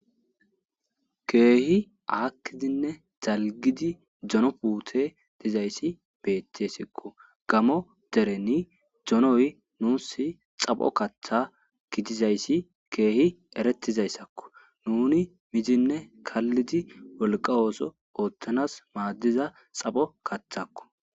keehi aakkidinne zalgidi dono puute dizayssi beetesikko gamo dereni donoy nuus xapho kaththa gidizayssi keehi eretizayssakko nuni mizinne kallidi wolqa ooso ooththanas maaddiza xapho kaththakko